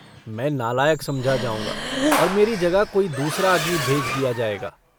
मैं नालायक समझा जाऊँगा और मेरी जगह कोई दूसरा आदमी भेज दिया जायगा।